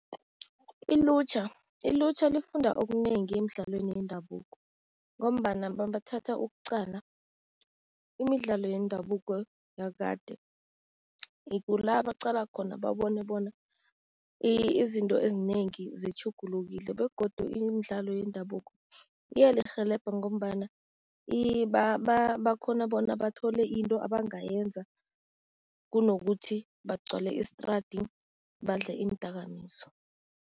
Ilutjha, ilutjha lifunda okunengi emidlalweni yendabuko ngombana mabathatha ukuqala, imidlalo yendabuko yakade kula baqala khona babone bona izinto ezinengi zitjhugulukile begodu imidlalo yendabuko iyalirhelebha ngombana bakghona bona bathole into abangayenza, kunokuthi bagcwale istradi badle iindakamizwa.